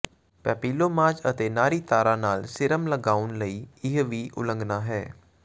papillomas ਅਤੇ ਨਾੜੀ ਤਾਰਾਂ ਨਾਲ ਸੀਰਮ ਲਗਾਉਣ ਲਈ ਇਹ ਵੀ ਉਲੰਘਣਾ ਹੈ